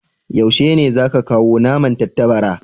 Yaushe ne za ka kawo naman tattabara?